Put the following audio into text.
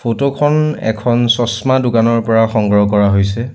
Photo খন এখন চচমা দোকানৰ পৰা সংগ্ৰহ কৰা হৈছে।